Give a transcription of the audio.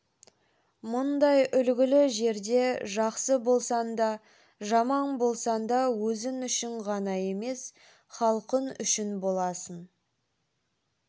мұндай үлгілі жерде жақсы болсаң да жаман болсаң да өзің үшін ғана емес халқын үшін боласын